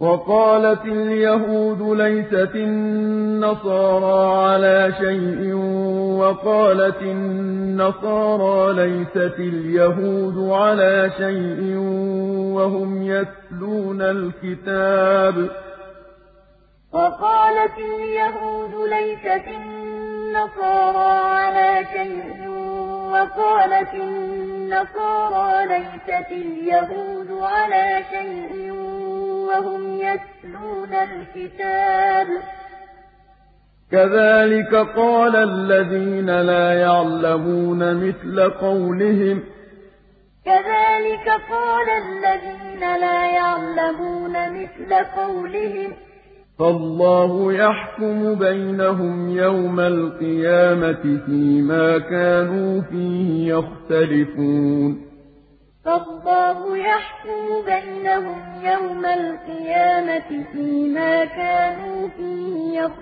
وَقَالَتِ الْيَهُودُ لَيْسَتِ النَّصَارَىٰ عَلَىٰ شَيْءٍ وَقَالَتِ النَّصَارَىٰ لَيْسَتِ الْيَهُودُ عَلَىٰ شَيْءٍ وَهُمْ يَتْلُونَ الْكِتَابَ ۗ كَذَٰلِكَ قَالَ الَّذِينَ لَا يَعْلَمُونَ مِثْلَ قَوْلِهِمْ ۚ فَاللَّهُ يَحْكُمُ بَيْنَهُمْ يَوْمَ الْقِيَامَةِ فِيمَا كَانُوا فِيهِ يَخْتَلِفُونَ وَقَالَتِ الْيَهُودُ لَيْسَتِ النَّصَارَىٰ عَلَىٰ شَيْءٍ وَقَالَتِ النَّصَارَىٰ لَيْسَتِ الْيَهُودُ عَلَىٰ شَيْءٍ وَهُمْ يَتْلُونَ الْكِتَابَ ۗ كَذَٰلِكَ قَالَ الَّذِينَ لَا يَعْلَمُونَ مِثْلَ قَوْلِهِمْ ۚ فَاللَّهُ يَحْكُمُ بَيْنَهُمْ يَوْمَ الْقِيَامَةِ فِيمَا كَانُوا فِيهِ